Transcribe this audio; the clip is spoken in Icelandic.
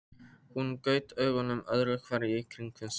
Hún gaut augunum öðru hverju í kringum sig.